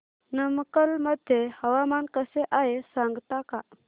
नमक्कल मध्ये हवामान कसे आहे सांगता का